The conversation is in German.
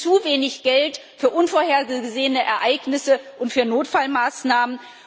Es gibt zu wenig Geld für unvorhergesehene Ereignisse und für Notfallmaßnahmen.